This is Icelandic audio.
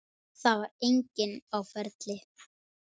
Það var enginn á ferli.